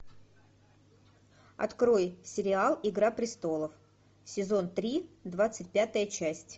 открой сериал игра престолов сезон три двадцать пятая часть